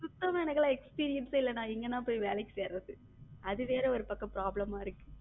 சுத்தமா எனக்கெல்லாம் experience இல்லனா எங்கனா போய் வேலைக்கு சேர்றது அதுவேற ஒரு பக்கம் problem ஆ இருக்கு.